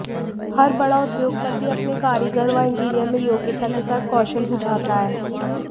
हर बड़ा उद्योगपति अपने कारीगर व इंजीनियर में योग्यता के साथ कौशल भी चाहता है